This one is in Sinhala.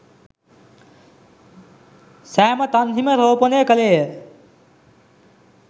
සෑම තන්හිම රෝපණය කළේය.